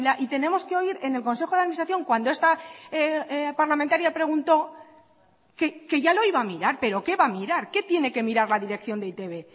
y tenemos que oír en el consejo de administración cuando esta parlamentaria preguntó que ya lo iba a mirar peroqué va a mirar qué tiene que mirar la dirección de e i te be